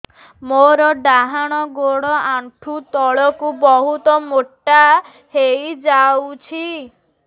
ମୋର ଡାହାଣ ଗୋଡ଼ ଆଣ୍ଠୁ ତଳକୁ ବହୁତ ମୋଟା ହେଇଯାଉଛି